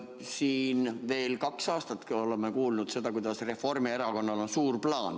Siin kaks aastat oleme kuulnud seda, kuidas Reformierakonnal on suur plaan.